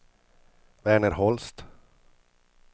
Verner Holst